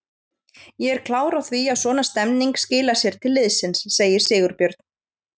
Ég er klár á því að svona stemning skilar sér til liðsins, segir Sigurbjörn.